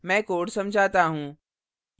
मैं code समझाता हूँ